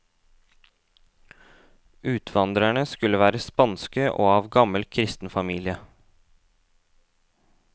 Utvandrerne skulle være spanske og av gammel kristen familie.